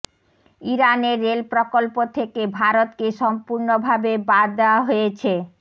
ইরানের রেল প্রকল্প থেকে ভারতকে সম্পূর্ণভাবে বাদ দেয়া হয়েছে